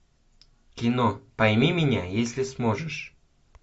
кино пойми меня если сможешь